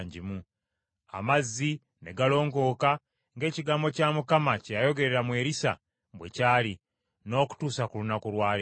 Amazzi ne galongooka, ng’ekigambo kya Mukama kye yayogerera mu Erisa bwe kyali, n’okutuusa ku lunaku lwa leero.